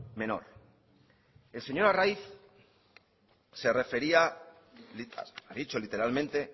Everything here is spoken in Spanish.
menor el señor arraiz se refería ha dicho literalmente